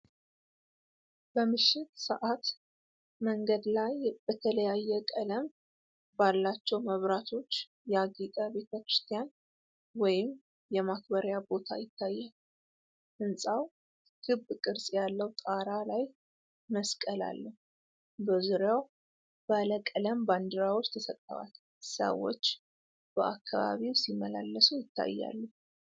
በምሽት ሰዓት መንገድ ላይ በተለያየ ቀለም ባላቸው መብራቶች ያጌጠ ቤተ ክርስቲያን ወይም የማክበሪያ ቦታ ይታያል። ሕንፃው ክብ ቅርጽ ያለው ጣራ ላይ መስቀል አለው። በዙሪያው ባለ ቀለም ባንዲራዎች ተሰቅለዋል። ሰዎች በአካባቢው ሲመላለሱ ይታያሉ።